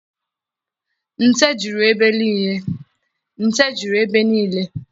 Nte juru ebe nile.